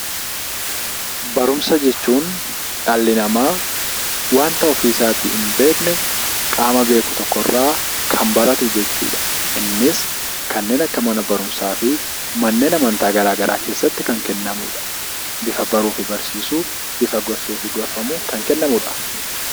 barumsa jechuun dhalli namaa wanta ofii isaatii hin beekne qaama beeku tokkorraa kan baratu jechuudha. Innis kanneen akka mana barumsaa fi manneen amantaa garaagaraa keessatti kan kennamudha. Bifa baruu fi barsiisuu bifa gorsuutiin kan kennamudha.